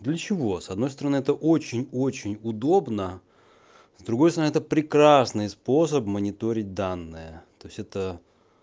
для чего с одной стороны это очень очень удобно с другой стороны это прекрасный способ мониторить данные то есть это